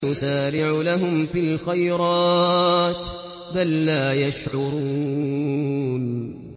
نُسَارِعُ لَهُمْ فِي الْخَيْرَاتِ ۚ بَل لَّا يَشْعُرُونَ